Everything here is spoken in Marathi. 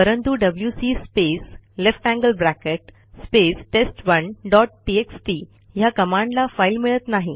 परंतु डब्ल्यूसी space lt space test one dot txt ह्या कमांडला फाईल मिळत नाही